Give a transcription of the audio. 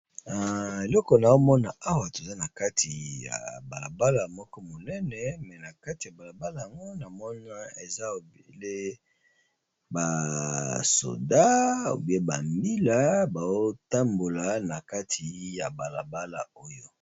Eloko na omona awa toza na kati ya bala bala moko monene, me na kati ya bala bala yango na moni eza obele ba soda ou bien ba mbila bao tambola na kati ya bala bala oyo.